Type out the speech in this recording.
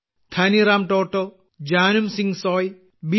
Dhaniram Toto Janum Singh Soy B